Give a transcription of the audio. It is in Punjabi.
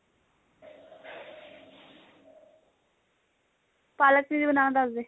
ਪਾਲਕ cheese ਬਨਾਣਾ ਦਸਦੇ